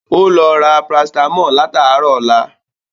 Ó lọ ra Parasítámọ̀ látàárọ̀ ọlá